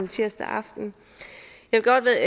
tirsdag aften